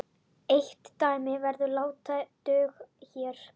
Eitt dæmi verður látið duga hér.